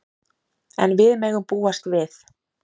En við megum búast við.